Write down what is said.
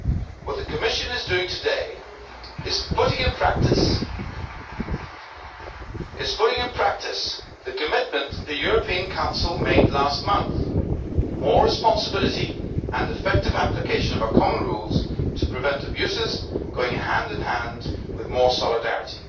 What the Commission is doing today is putting into practice the commitment the European Council made last month more responsibility and effective application of our common rules to prevent abuses, going hand-in-hand with more solidarity.